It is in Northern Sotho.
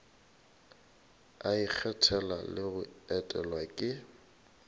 ikgethela le go etelwa ke